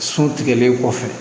So tigɛlen kɔfɛ